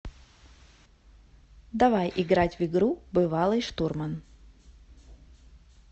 давай играть в игру бывалый штурман